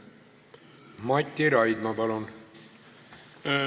Mati Raidma, palun!